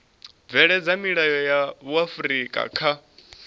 bveledza milayo ya vhuifari kha